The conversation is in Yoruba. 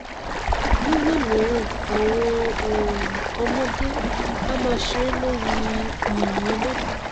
nígbà mìíràn àwọn um ọmọdé á máa ṣeré lórí i yìnyín náà